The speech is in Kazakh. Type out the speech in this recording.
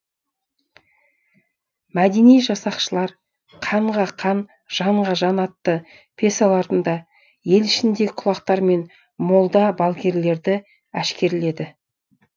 мәдени жасақшылар қанға қан жанға жан атты пьесаларында ел ішіндегі құлақтар мен молда балгерлерді әшкерледі